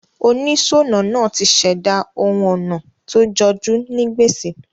Onísònà naa ti sèdá oun onà to jojú ni gbèsè